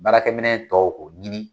Baarakɛminɛn tɔw o ɲini